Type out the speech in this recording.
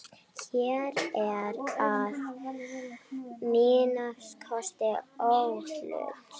Hér ertu að minnsta kosti óhult.